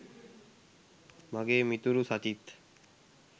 මගේ මිතුරු සචිත්